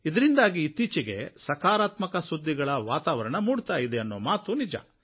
ಇದರಿಂದಾಗಿ ಇತ್ತೀಚೆಗೆ ಸಕಾರಾತ್ಮಕ ಸುದ್ದಿಗಳ ವಾತಾವರಣ ಮೂಡ್ತಾ ಇದೆ ಅನ್ನೊ ಮಾತು ನಿಜ